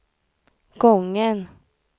gången